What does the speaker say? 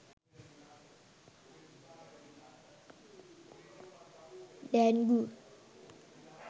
dengue